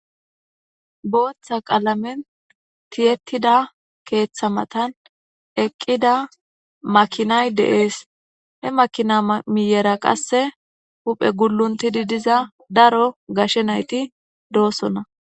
Booththa qalamen tiyyetida keeththa matan eqqida makinay de'es. He makina miyyera qasse huphe gulluntidi diza daro gashe nayti doosona.